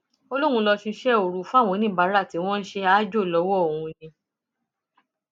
ó lóun lọọ ṣíṣe òru fáwọn oníbàárà tí wọn ń ṣe aájò lọwọ òun ni